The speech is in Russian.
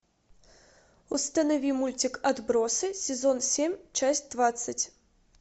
установи мультик отбросы сезон семь часть двадцать